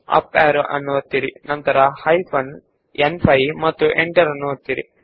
up arrow key ಒತ್ತಿ ನಡುವೆ ಬನ್ನಿ ಹೈಫೆನ್ ನ್5 ಬರೆದು ಎಂಟರ್ ಒತ್ತಿ